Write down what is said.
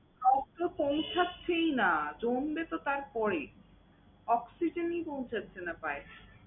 আর তো পৌছাচ্ছেই না, জমবে তো তার পরে। Oxygen ই পৌছাচ্ছে না পায়ে।